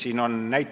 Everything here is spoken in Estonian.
Ei tea.